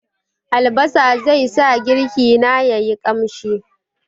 Albasa zai sa girki na ya yi ƙamshi.